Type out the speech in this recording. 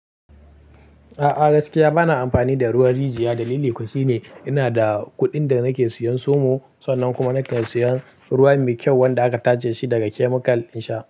A'a gaskiya bana amfani da ruwan rijiya. Dalili kuwa shine ina da kuɗin da nake siyan somo sannan kuma nake siyan ruwa mai kyau wanda aka tace shi daga chemical in sha.